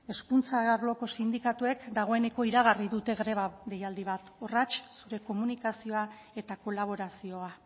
hezkuntza arloko sindikatuek dagoeneko iragarri dute gaur greba deialdi bat horratx zure komunikazioa eta kolaborazioa